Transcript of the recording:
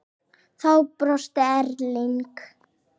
Þá brosti Erling.